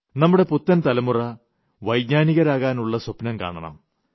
നമ്മുടെ പുത്തൻ തലമുറ വൈജ്ഞാനികരാകാനുളള സ്വപ്നം കാണണം